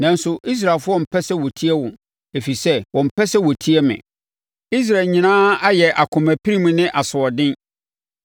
Nanso Israelfoɔ mpɛ sɛ wɔtie wo, ɛfiri sɛ wɔmpɛ sɛ wɔtie me. Israel nyinaa ayɛ akoma pirim ne asoɔden.